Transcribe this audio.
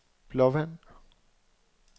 Blåvand